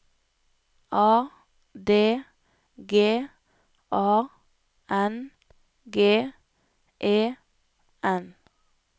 A D G A N G E N